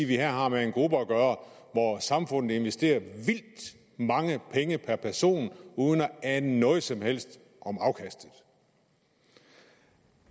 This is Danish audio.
vi her har med en gruppe at gøre hvor samfundet investerer vildt mange penge per person uden at ane noget som helst om afkastet